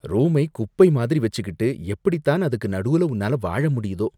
ரூமை குப்பை மாதிரி வெச்சுக்கிட்டு எப்படித்தான் அதுக்கு நடூல உன்னால வாழ முடியுதோ